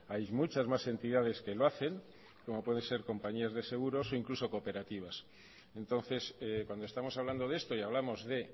hay muchas más entidades que lo hacen como puede ser compañías de seguros e incluso cooperativas entonces cuando estamos hablando de esto y hablamos de